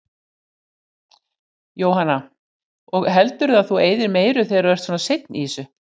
Jóhanna: Og heldurðu að þú eyðir meiru þegar þú ert svona seinn í þessu?